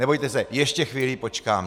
Nebojte se, ještě chvíli počkám.